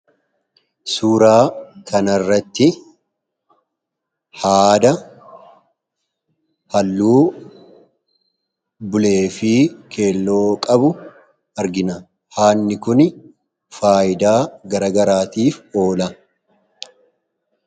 Suuraa kanarratti haada halluu bulee fi keelloo qabu argina. Haadni kuni faayidaa garagaraatiif oola.